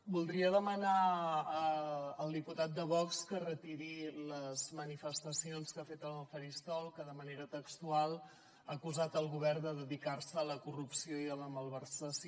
voldria demanar al diputat de vox que retiri les manifestacions que ha fet en el faristol que de manera textual ha acusat el govern de dedicar se a la corrupció i a la malversació